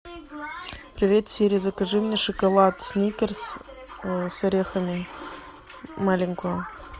привет сири закажи мне шоколад сникерс с орехами маленькую